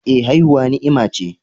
Eh, haihuwa ni'ima ce